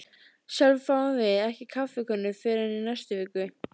Sjálfir fáum við ekki kaffikönnu fyrr en í næstu viku.